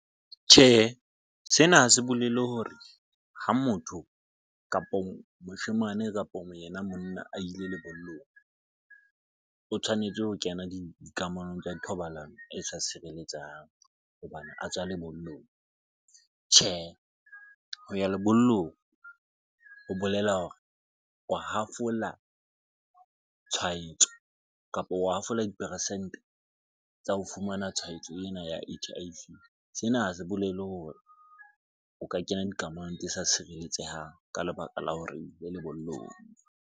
Tjhehe, sena ha se bolele hore ha motho kapo moshemane, kapo yena monna a ile lebollong o tshwanetse ho kena dikamanong tsa thobalano e sa sireletsang hobane a tswa lebollong. Tjhehe, ho ya lebollong ho bolela hore o hafola tshwaetso kapo o hafola diperesente tsa ho fumana tshwaetso ena ya H_I_V. Sena ha se bolele hore o ka kena dikamanong tse sa tshireletsehang ka lebaka la hore ile lebollong.